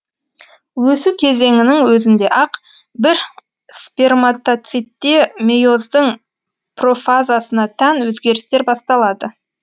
өсу кезеңінің өзінде ақ бір сперматоцитте мейоздың профазасына тән өзгерістер басталады